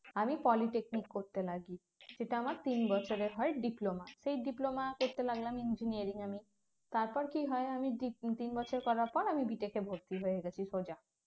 আমি polytechnic করতে লাগি সেটা আমার তিন বছরের হয় diploma সেই diploma করতে লাগলাম engineering এ তারপর কি হয় আমি দি তিন বছর করার পর আমি B tech ভর্তি হয়ে গেছি সোজা